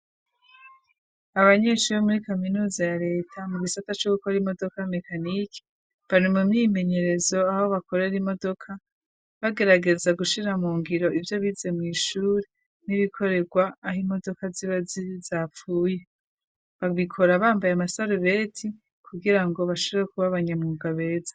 Abanyeshuri bo muri kaminuza ya leta mu bisata co gukora imodoka mecaniki bari mu myimenyerezo aho bakorera imodoka bagerageza gushira mu ngiro ivyo bize mw'ishure n'ibikoregwa aho imodoka ziba zapfuye, babikora bambaye amasarubeti kugira ngo bashore kuba abanyamuga beza.